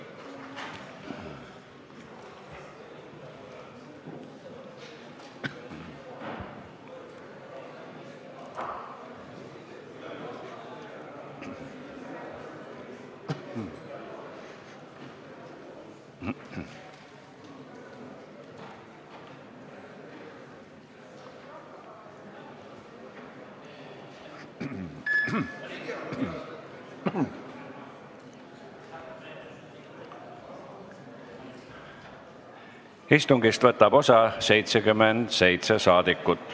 Kohaloleku kontroll Istungist võtab osa 77 saadikut.